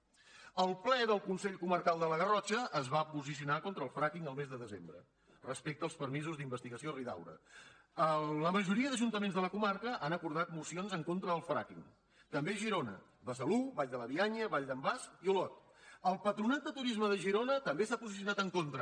el ple del consell comarcal de la garrotxa es va posicionar contra el fracking el mes de desembre respecte als permisos d’investigació a ridaura la majoria d’ajuntaments de la comarca han acordat mocions en contra del fracking també a girona besalú vall de bianya vall d’en bas i olot el patronat de turisme de girona també s’ha posicionat en contra